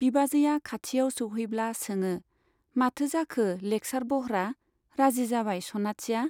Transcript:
बिबाजैया खाथियाव सौहैब्ला सोङो , माथो जाखो लेक्सार बह्रा , राजि जाबाय सनाथिया ?